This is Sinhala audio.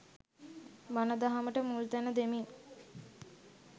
බණ දහමට මුල්තැන දෙමින්